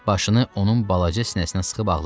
Başını onun balaca sinəsinə sıxıb ağladı.